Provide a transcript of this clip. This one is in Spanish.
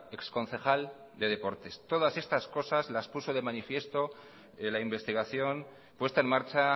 exconcejal de deportes todas estas cosas las puso de manifiesto la investigación puesta en marcha